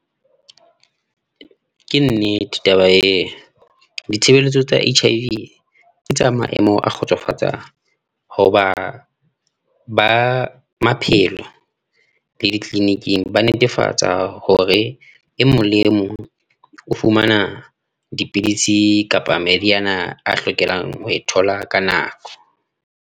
Ke nnete taba eo, ditshebeletso tsa H_I_V ke tsa maemo a kgotsofatsang hoba ba maphelo le di-clinic-ing ba netefatsa hore e mong le e mong o fumana dipidisi kapa meriana a hlokelang ho e thola ka nako.